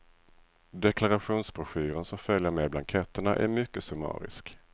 Deklarationsbroschyren som följer med blanketterna är mycket summarisk.